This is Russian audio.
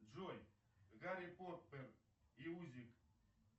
джой гарри поттер и узник